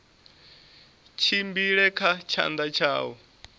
tshimbile kha tshanḓa tsha u